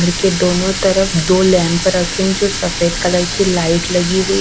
घर के दोनों तरफ दो लैंप रखे है जो सफेद कलर की लाइट लगी हुई--